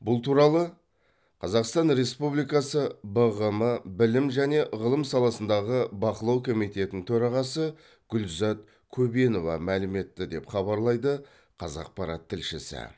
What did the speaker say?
бұл туралы қазақстан республикасы бғм білім және ғылым саласындағы бақылау комитетінің төрағасы гүлзат көбенова мәлім етті деп хабарлайды қазақпарат тілшісі